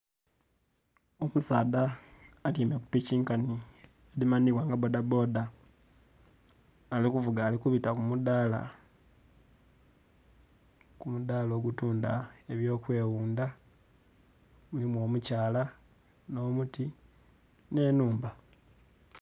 Omusaadha atyaime kupiki nkanhi edhimanhibwa nga bbodha bbodha nga alikuvuga alikubita kumudhala, omudhala obutundha ebyokweghundha mulimu omukyala nh'omuti nh'enhumba.